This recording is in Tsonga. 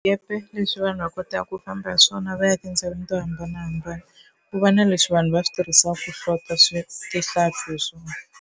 leswi vanhu va kotaka ku famba hi swona va ya etindhawini to hambanahambana ku va na leswi vanhu va swi tirhisiwaka ku hlota swi tihlampfi hi swona.